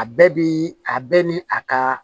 A bɛɛ bi a bɛɛ ni a ka